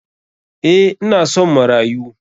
Eh ina son marayu.